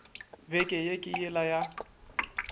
beke ye ke yela ya